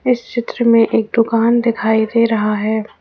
इस चित्र में एक दुकान दिखाई दे रहा है।